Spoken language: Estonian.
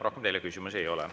Rohkem teile küsimusi ei ole.